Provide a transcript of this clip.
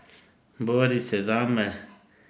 Bori se zame!